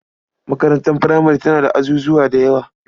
Makarantar furamare tana da azuzawa da yawa.